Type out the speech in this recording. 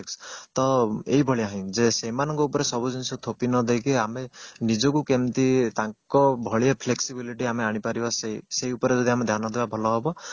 ତ ଏଇ ଭଳିଆ ଯେ ସେମାନଙ୍କ ଉପରେ ସବୁ ଜିନିଷ ଥୋକି ନଦେଇକି ଆମେ ନିଜକୁ କିଭଳି ତାଙ୍କ ଭଳିଆ flexibility ଆମେ ଆଣିପାରିବା ସେଇ ଉପରେ ଆମେ ଯଦି ଧ୍ୟାନ ଦେବା ଭଲ ହେବ